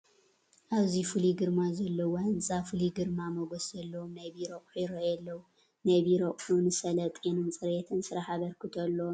ኣብዚ ፍሉይ ግርማ ዘለዎ ህንፃ ፍሉይ ግርማ ሞገስ ዘለዎም ናይ ቢሮ ኣቑሑ ይርአዩ ኣለዉ፡፡ ናይ ቢሮ ኣቑሑ ንሰለጤንን ፅሬትን ስራሕ ኣበርክቶ ኣለዎም ዶ?